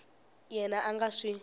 yena a a nga swi